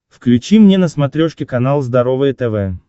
включи мне на смотрешке канал здоровое тв